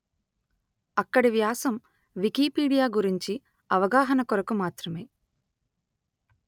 అక్కడి వ్యాసం వికీపీడియా గురించి అవగాహన కొరకు మాత్రమే